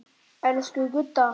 Elsku Gudda.